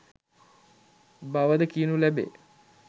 බවද කියනු ලැබේ.